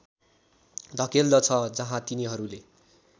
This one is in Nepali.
धकेल्दछ जहाँ तिनीहरूले